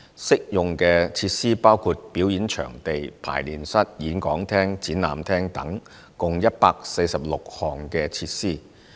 適用設施包括表演場地、排練室、演講廳、展覽廳等共146項設施。